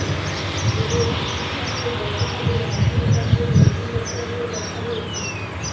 ତେବେ ଚିକିତ୍ସା ପାଇଁ ଗତକାଲି ରାତିରୁ ତାକୁ ଭେଣ୍ଟିଲେଟରରେ ରଖାଯାଇଛି